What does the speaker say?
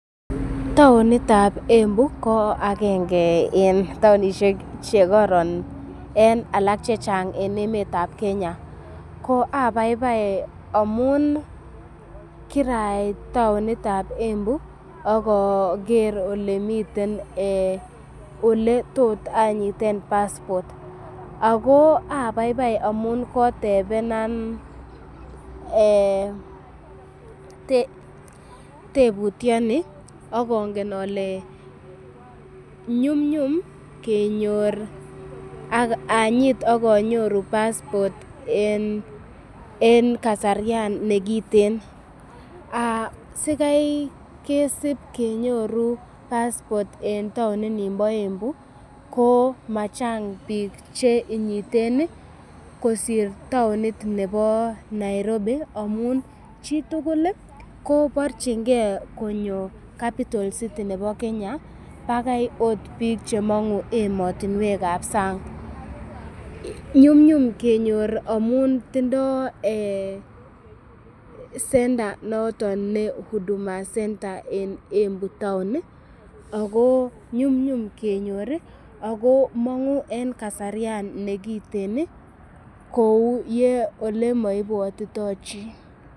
Taonit ab Embu ko agenge en taonishek che koron en alak chechang en emet ab Kenya. Ko abaibai amun kirait taonit ab Embu ak oger ole miten, ole tot anyiten passport ago abaibai amun kotebenan tebutyoni ak ongen ole nyumnyum kenyo, ak anyit ak anyoru passport en kasaryan nekiten. Sikai kesib kenyoru passport en taoninimbo Embu ko machang biik che inyiten kosir taonit nebo Nairobi, amun chitugul koborchinge konyo capital city nebo Kenya bagai ot biik che mong'u emotinwekab sang. Nyumnyum kenyor amun tindo center noton ne huduma centre en Embu town ago nyumnyum kenyor ago mong'u en kasaryan nekiten kou ole moibwotito chi.